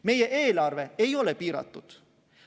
Meie eelarve ei ole piiratud.